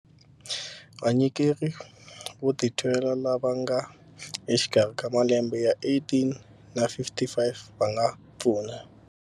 Vanyikeri vo titwela lava nga exikarhi ka malembe ya 18 na 55 va nga pfuna